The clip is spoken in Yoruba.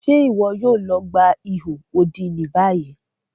Ṣe iwọ yoo lọ gba iho odi ni bayi?